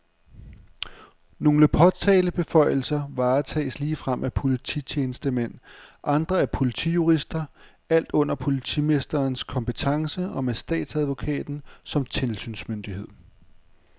Nogle påtalebeføjelser varetages ligefrem af polititjenestemænd, andre af politijurister, alt under politimesterens kompetence og med statsadvokaten som tilsynsmyndighed.